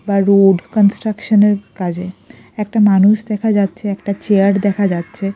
বা road construction -এর কাজে একটা মানুষ দেখা যাচ্ছে একটা চেয়ার দেখা যাচ্ছে।